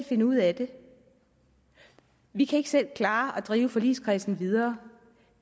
finde ud af det vi kan ikke selv klare at drive forligskredsen videre